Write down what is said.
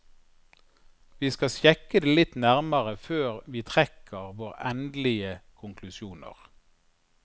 Vi skal sjekke det litt nærmere før vi trekker våre endelige konklusjoner.